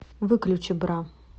выключи бра